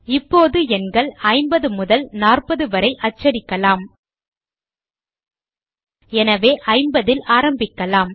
இப்போது எண்கள் 50 முதல் 40 வரை அச்சடிக்கலாம் எனவே 50 ல் ஆரம்பிக்கலாம்